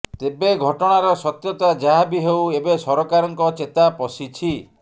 ତେବେ ଘଟଣାର ସତ୍ୟତା ଯାହା ବି ହେଉ ଏବେ ସରକାରଙ୍କ ଚେତା ପଶିଛି